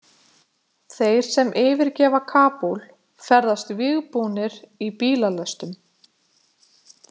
Þeir sem yfirgefa Kabúl ferðast vígbúnir í bílalestum.